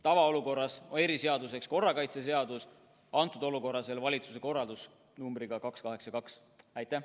Tavaolukorras reguleerib seda korrakaitseseadus, kõnealuses olukorras reguleeris seda veel valitsuse korraldus nr 282.